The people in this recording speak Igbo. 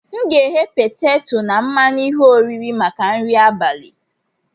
M ga-eghe peteto na mmanụ ihe oriri maka nri abalị.